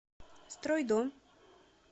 стройдом